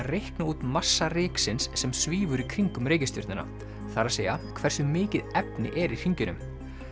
reikna út massa sem svífur í kringum reikistjörnuna það er að hversu mikið efni er í hringjunum